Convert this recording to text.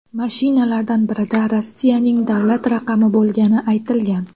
Mashinalardan birida Rossiyaning davlat raqami bo‘lgani aytilgan.